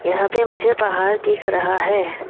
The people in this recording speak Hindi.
यहां पे मुझे पहाड़ दिख रहा है।